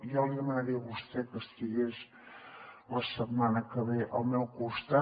jo li demanaria a vostè que estigués la setmana que ve al meu costat